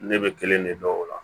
Ne bɛ kelen de dɔn o la